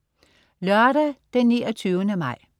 Lørdag den 29. maj